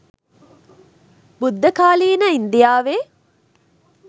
බුද්ධකාලීන ඉන්දියාවේ